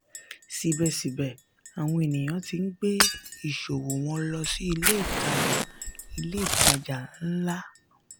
síbẹ̀síbẹ̀ àwọn ènìyàn ti ń gbé ìṣòwò wọn lọ sí ilé ìtàjà ilé ìtàjà ńlá.